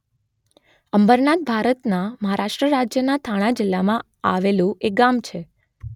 અંબરનાથ ભારતના મહારાષ્ટ્ર રાજ્યના થાણા જિલ્લામાં આવેલું એક ગામ છે